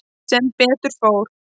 Sem betur fór.